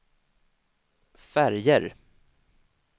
färger